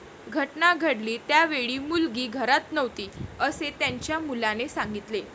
घटना घडली त्यावेळी मुलगी घरात नव्हती, असे त्यांच्या मुलाने सांगितले.